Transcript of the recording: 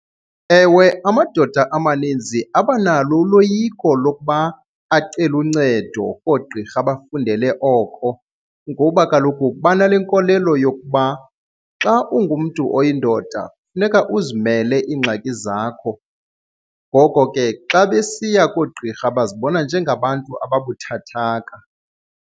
Ewe, amadoda amaninzi abanalo uloyiko lokuba acele uncedo koogqirha abafundele oko ngoba kaloku banale nkolelo yokuba xa ungumntu oyindoda funeka uzimele iingxaki zakho. Ngoko ke xa besiya koogqirha bazibona njengabantu ababuthathaka.